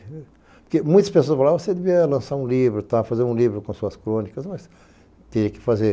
Porque muitas pessoas falavam que eu devia lançar um livro, fazer um livro com suas crônicas, mas tinha que fazer.